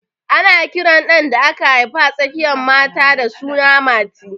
Ana kiran ɗan da aka haifa a tsakiyan mata da suna Mati